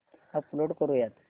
upload करुयात